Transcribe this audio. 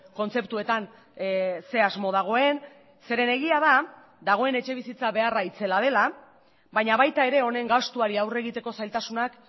kontzeptuetan ze asmo dagoen zeren egia da dagoen etxebizitza beharra itzela dela baina baita ere honen gastuari aurre egiteko zailtasunak